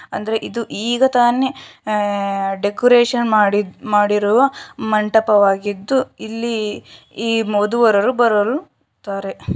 ಅಂದ್ರೆ ಇದು ಈಗ ತಾನೆ ಆ ಡೆಕೋರೇಷನ್ ಮಾಡಿದ ಮಾಡಿರುವ ಮಂಟಪವಾಗಿದ್ದು ಇಲ್ಲಿ ಈ ಮದುವವರು ಬರರು ಇದ್ದಾರೆ .